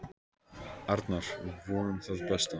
Arnar: Vonum það besta.